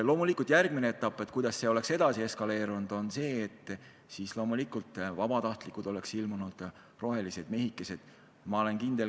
Loomulikult järgmine etapp, kui see sündmus oleks eskaleerunud, oleks olnud see, et vabatahtlikud, rohelised mehikesed oleks ilmunud.